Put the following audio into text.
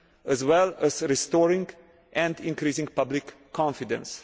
as well as to restoring and increasing public confidence.